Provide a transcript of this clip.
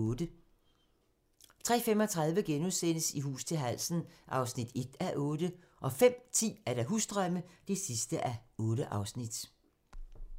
03:35: I hus til halsen (1:8)* 05:10: Husdrømme (8:8)